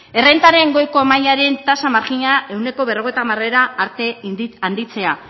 errentaren goiko mailaren tasa marjinala ehuneko berrogeita hamar arte handitzea